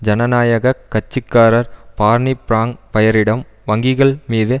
ஜனநாயக கட்சி காரர் பார்னி பிராங் பயரிடம் வங்கிகள் மீது